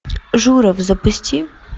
журов запусти